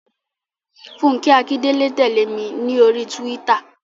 Fúnkẹ́ Akíndélé tẹ̀lé mi ní oríi túwítà